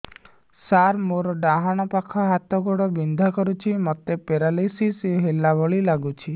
ସାର ମୋର ଡାହାଣ ପାଖ ହାତ ଗୋଡ଼ ବିନ୍ଧା କରୁଛି ମୋତେ ପେରାଲିଶିଶ ହେଲା ଭଳି ଲାଗୁଛି